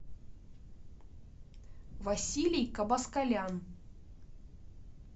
василий кабаскалян